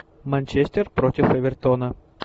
манчестер против эвертона